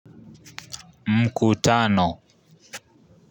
Mkutano.